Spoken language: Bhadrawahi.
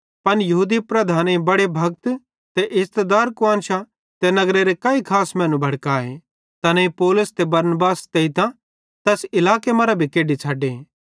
पन यहूदी लीडरेईं बड़े भक्त ते इज़्ज़तदार कुआन्शां ते नगरेरे काई खास मैनू भड़काए तैनेईं पौलुस ते बरनबासे सितेइतां तैना तैस इलाके मरां भी केढी छ़डे